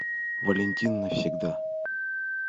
валентин навсегда